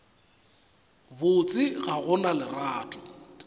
botse ga go na lerato